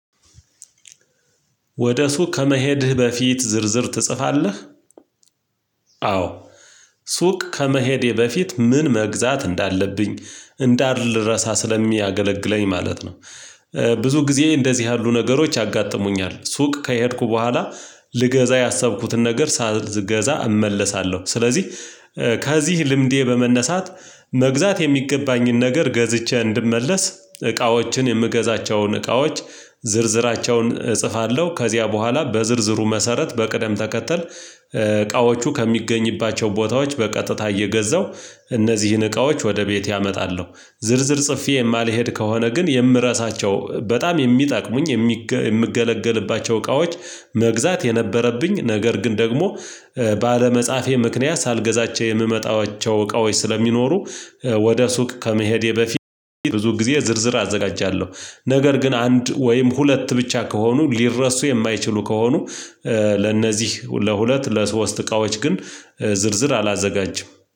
ወደ ሱቅ ከመሄድህ በፊት ዝርዝር ትጽፋለህ? አዎ። ሱቅ ከመሄዴ በፊት ምን መግዛት እንዳለብኝ እንዳልረሳ ስለሚያገለግለኝ ማለት ነው። ብዙ ጊዜ እንደዚህ ያሉ ነገሮች ያጋጥሙኛል ሱቅ ከሄድኩ በኋላ ልገዛ ያሰብኩትን ነገር ሳልገዛ እመለሳለሁ። ስለዚህ ከዚህ ልምዴ በመነሳት መግዛት የሚገባኝን ነገር ገዝቼ እንድመለስ እቃዎችን የምገዛቸውን እቃዎች ዝርዝራቸውን እጽፋለሁ። ከዚያ በኋላ በዝርዝሩ መሰረት በቅደም ተከተል እቃዎቹ ከሚገኝባቸው ቦታዎች በቀጥታ እየገዛሁ እነዚህን እቃዎች ወደ ቤቴ አመጣለሁ። ዝርዝር ጽፌ የማልሄድ ከሆነ ግን የምረሳቸው በጣም የሚጠቅሙኝ የምገለገልባቸው እቃዎች። መግዛት የነበረብኝ ነገር ግን ደግሞ ባለመጻፌ ምክንያት ሳልገዛቸው የምመጣቸው እቃዎች ስለሚኖሩ። ወደ ሱቅ ከመሄዴ በፊት ብዙ ጊዜ ዝርዝር አዘጋጃለሁ። ነገር ግን አንድ ወይም ሁለት ብቻ ከሆኑ ሊረሱ የማይችሉ ከሆኑ። ለነዚህ ለሁለት ለሶስት እቃዎች ግን ዝርዝር አላዘጋጅም